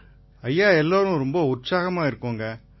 நிதேஷ் குப்தா எல்லாருமே ரொம்ப உற்சாகமா இருக்காங்க